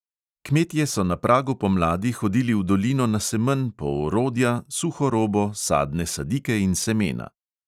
Kmetje so na pragu pomladi hodili v dolino na semenj po orodja, suho robo, sadne sadike in semena.